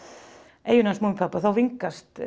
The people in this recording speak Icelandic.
eyjunni hans Múmínpabba og þá vingast